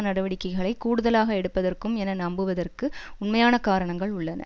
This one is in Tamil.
நடவடிக்கைகளை கூடுதலாக எடுப்பதற்கும் என நம்புவதற்கு உண்மையான காரணங்கள் உள்ளன